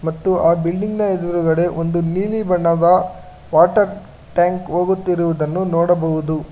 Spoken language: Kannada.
ಮತ್ತು ಆ ಬಿಲ್ಡಿಂಗ್ ನ ಎದುರುಗಡೆ ಒಂದು ನೀಲಿ ಬಣ್ಣದ ವಾಟರ್ ಟ್ಯಾಂಕ್ ಹೋಗುತ್ತಿರುವುದನ್ನು ನೋಡಬಹುದು.